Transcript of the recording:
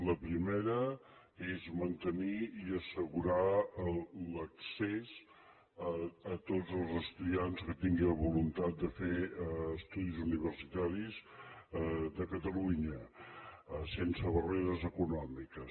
la primera és mantenir i assegurar l’accés a tots els estudiants que tinguin la voluntat de fer estudis universitaris de catalunya sense barreres econòmiques